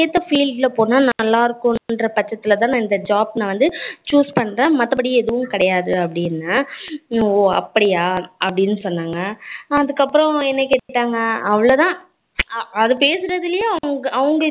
அவங்களுக்கு ஏத்த field ல போனதான் நல்லா இருக்கும் என்ற பட்சத்தில் தான் இந்த job நான் choose பண்ணுறேன் மத்தபடி ஏதும் கேடயாது அப்படின்னு சொன்னேன். ஹம் ஓ அப்படியா அப்படினு சொன்னாங்க அதுக்கு அப்பறம் என்ன கேட்டாங்க அவ்ளோதான் ஹம் அத பேசுறதுலயே அவங்க